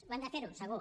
ho hem de fer segur